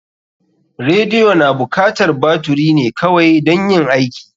Radiyo na bukatar baturi ne kawai dan yin aiki.